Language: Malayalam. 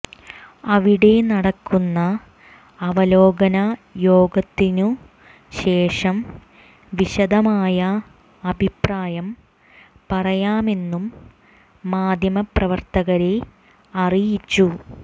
അവിടെ നടക്കുന്ന അവലോകന യോഗത്തിനു ശേഷം വിശദമായ അഭിപ്രായം പറയാമെന്നും മാധ്യമപ്രവർത്തകരെ അറിയിച്ചു